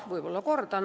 Võib-olla kordan.